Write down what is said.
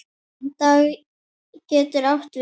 Dag getur átt við